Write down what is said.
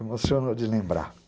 Emocionou de lembrar.